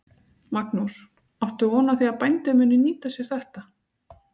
Magnús: Áttu von á því að bændur muni nýta sér þetta?